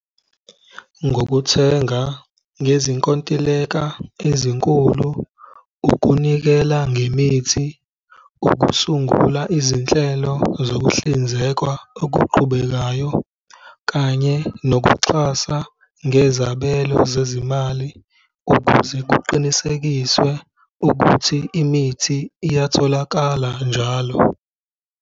Ngokuthenga ngezinkontileka ezinkulu, ukunikela ngemithi, ukusungula izinhlelo zokuhlinzeka okuqhubekayo kanye nokuxhasa ngezabelo zezimali, ukuze kuqinisekiswe ukuthi imithi iyatholakala njalo.